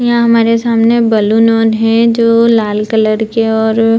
यह हमारे सामने बलून ओन हैं और जो लाल कलर के और --